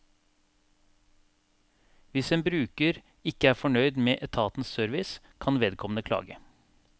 Hvis en bruker ikke er fornøyd med etatens service, kan vedkommende klage.